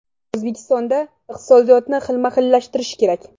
O‘zbekistonda iqtisodiyotni xilma-xillashtirish kerak.